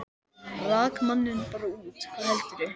Rak manninn bara út, hvað heldurðu!